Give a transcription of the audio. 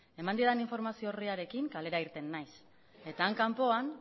eman didan informazioa orriarekin kalera irten naiz eta han kanpoan